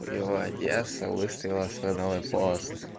его одесса выставила свой новый пост